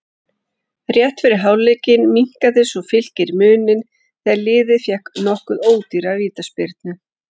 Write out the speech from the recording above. Rétt fyrir hálfleik minnkaði svo Fylkir muninn þegar liðið fékk nokkuð ódýra vítaspyrnu.